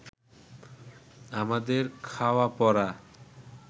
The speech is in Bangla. আমাদের খাওয়া-পরা